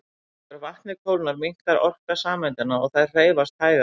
Þegar vatnið kólnar minnkar orka sameindanna og þær hreyfast hægar.